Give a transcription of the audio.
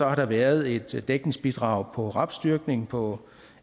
har der været et dækningsbidrag på rapsdyrkning på